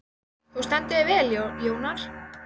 Þú stendur þig vel, Jónar!